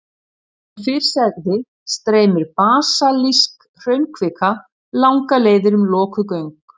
Eins og fyrr sagði streymir basaltísk hraunkvika langar leiðir um lokuð göng.